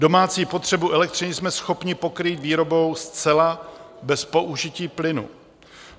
Domácí potřebu elektřiny jsme schopni pokrýt výrobou zcela bez použití plynu.